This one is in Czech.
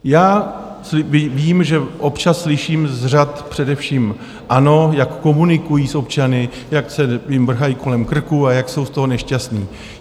Já vím, že občas slyším z řad především ANO, jak komunikují s občany, jak se jim vrhají kolem krku a jak jsou z toho nešťastní.